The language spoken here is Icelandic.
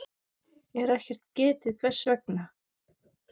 er ekkert getið hvers vegna.